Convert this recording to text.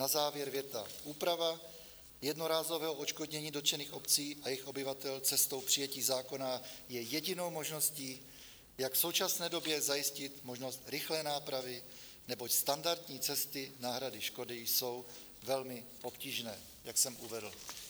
Na závěr věta: "Úprava jednorázového odškodnění dotčených obcí a jejich obyvatel cestou přijetí zákona je jedinou možností, jak v současné době zajistit možnost rychlé nápravy, neboť standardní cesty náhrady škody jsou velmi obtížné" - jak jsem uvedl.